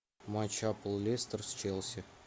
матч апл лестер с челси